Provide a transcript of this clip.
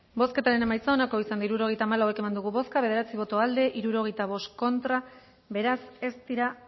bozketaren emaitza onako izan da hirurogeita hamalau eman dugu bozka bederatzi boto aldekoa sesenta y cinco contra beraz ez dira